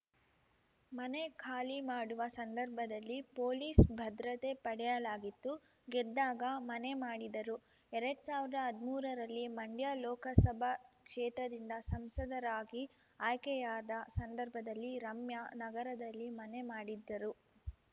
ಮನೆ ಖಾಲಿ ಮಾಡುವ ಸಂದರ್ಭದಲ್ಲಿ ಪೊಲೀಸ್‌ ಭದ್ರತೆ ಪಡೆಯಲಾಗಿತ್ತು ಗೆದ್ದಾಗ ಮನೆ ಮಾಡಿದರು ಎರಡ್ ಸಾವಿರ್ದಾ ಹದ್ಮೂರರಲ್ಲಿ ಮಂಡ್ಯ ಲೋಕಸಭಾ ಕ್ಷೇತ್ರದಿಂದ ಸಂಸದರಾಗಿ ಆಯ್ಕೆಯಾದ ಸಂದರ್ಭದಲ್ಲಿ ರಮ್ಯಾ ನಗರದಲ್ಲಿ ಮನೆ ಮಾಡಿದ್ದರು